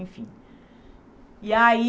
Enfim... E aí...